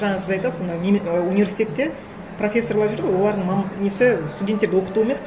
жаңа сіз айтасыз ана і университетте профессорлар жүр ғой олардың несі студенттерді оқыту емес